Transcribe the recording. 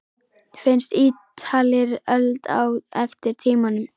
Finnst Ítalir öld á eftir tímanum.